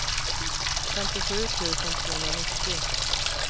femtiosju tusen tvåhundranittio